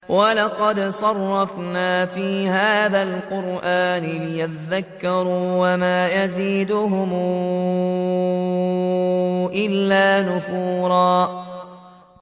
وَلَقَدْ صَرَّفْنَا فِي هَٰذَا الْقُرْآنِ لِيَذَّكَّرُوا وَمَا يَزِيدُهُمْ إِلَّا نُفُورًا